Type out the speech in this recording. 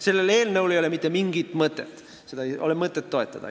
Sellel eelnõul ei ole mitte mingit mõtet, seda ei ole mõtet toetada.